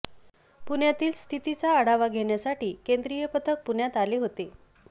पुण्यातील स्थितीचा आढावा घेण्यासाठी केंद्रीय पथक पुण्यात आले होते